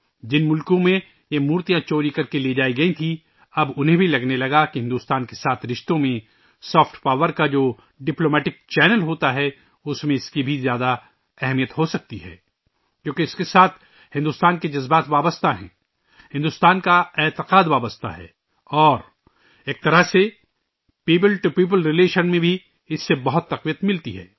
جن ممالک میں یہ مورتیاں چوری کرکے لے جائی گئی تھیں ، اب انہیں بھی لگنے لگا کہ بھارت کے ساتھ رشتوں میں سافٹ پاور کا ، جو ڈپلومیٹک چینل ہوتا ہے ، اُس میں ، اِس کی بھی بہت بڑی اہمیت ہو سکتی ہے کیونکہ اِس کے ساتھ بھارت کے احساسات جڑے ہوئے ہیں ، بھارت کی جذبات جڑے ہوئے ہیں اور ایک طرح سے عوام سے عوام کے تعلقات میں بھی یہ بہت طاقت پیدا کرتا ہے